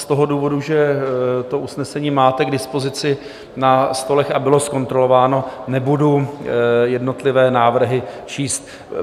Z toho důvodu, že to usnesení máte k dispozici na stolech a bylo zkontrolováno, nebudu jednotlivé návrhy číst.